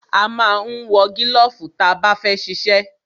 A ma ń wọ gílọ̀fù ta bá fẹ́ ṣiṣẹ́.